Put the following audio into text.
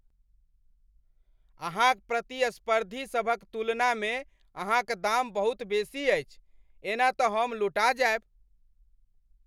अहाँक प्रतिस्पर्धी सभक तुलनामे अहाँक दाम बहुत बेसी अछि। एना तऽ हम लुटा जायब।